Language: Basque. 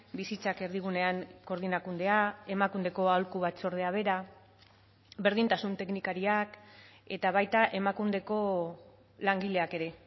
bizitzak erdigunean koordinakundea emakundeko aholku batzordea bera berdintasun teknikariak eta baita emakundeko langileak ere